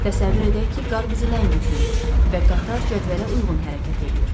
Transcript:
Təsəvvür edək ki, qar bizi ləngitməyib və qatar cədvələ uyğun hərəkət eləyir.